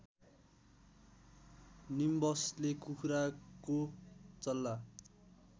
निम्बसले कुखुराको चल्ला